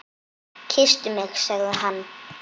Kysstu mig sagði hann.